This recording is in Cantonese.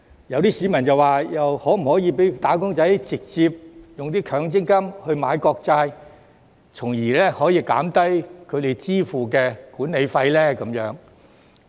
有些市民就問，可否讓"打工仔"直接用強積金買國債，從而可以減低他們支付的管理費呢？